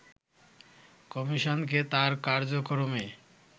কমিশনকে তার কাজকর্মে